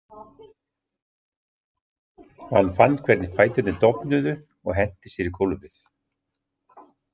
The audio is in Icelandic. Hann fann hvernig fæturnir dofnuðu og henti sér í gólfið.